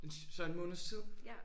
Den så en måneds tid?